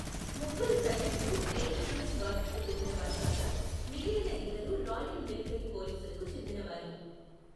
ముగ్గురు సైనికులు గ్రెనేడియర్ గార్డ్స్కు చెందినవారు కాగా, మిగిలిన ఇద్దరు రాయల్ మిలిటరీ పోలీసులకు చెందినవారు.